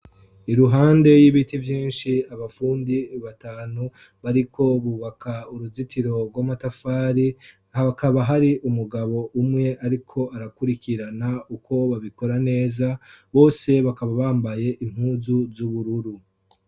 Iruhande y'ibiti vyinshi abafundi batanu bariko bubaka uruzitiro rw'amatafari hakaba hari umugabo umwe ariko arakurikirana uko babikora neza bose bakaba bambaye impuzu z'ubururu.